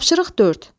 Tapşırıq 4.